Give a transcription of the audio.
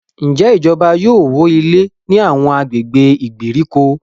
Njé ìjọba yóò wọ ilé ní Àwọn agbègbè ìgbèríko?